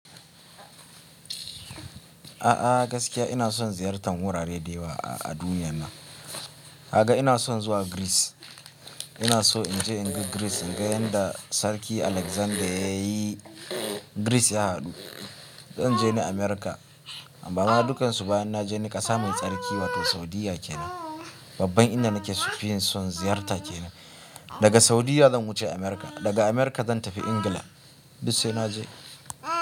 A'a gaskiya ina son ziyartan wurare da yawa a duniyyan nan. Haka ina son zuwa Greece. Ina so in je in ga Greece, in ga yadda Sarki Alexander ya yi Greece ya haɗu. Zan je ni America, amma ma dukansu bayan na je ni ƙasa mai tsarki wato Saudiyya kenan. Babban inda nake sufuri son ziyarta kenan. Daga Saudiyya zan wuce America. Daga America zan tafi England. Duk sai na je.